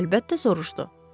Əlbəttə soruşdu.